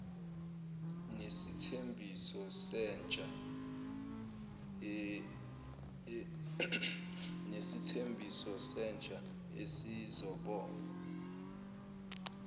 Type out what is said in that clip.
nesithembiso sentsha esizobonga